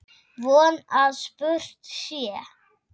Von að spurt sé.